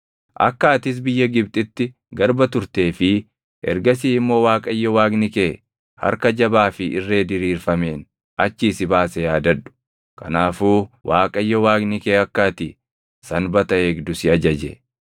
Akka atis biyya Gibxitti garba turtee fi ergasii immoo Waaqayyo Waaqni kee harka jabaa fi irree diriirfameen achii si baase yaadadhu. Kanaafuu Waaqayyo Waaqni kee akka ati Sanbata eegdu si ajaje.